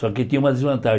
Só que tinha uma desvantagem.